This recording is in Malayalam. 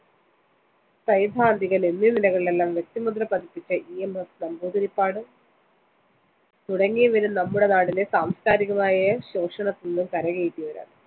സൈദ്ധാന്തികന്‍ എന്നീ നിലകളിലെല്ലാം വ്യക്തിമുദ്ര പതിപ്പിച്ച ഇ. എം. എസ്. നമ്പൂതിരിപ്പാട് തുടങ്ങിയവരും നമ്മുടെ നാടിനെ സാംസ്‌കാരികമായ ശോഷണത്തില്‍നിന്നും കരകയറ്റിയവരാണ്.